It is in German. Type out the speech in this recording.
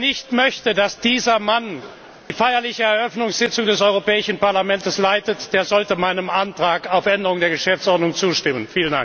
Wer nicht möchte, dass dieser Mann die feierliche Eröffnungssitzung des Europäischen Parlaments leitet, der sollte meinem Antrag auf Änderung der Geschäftsordnung zustimmen!